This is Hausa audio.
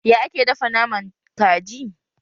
Ya ake dafa naman kaji?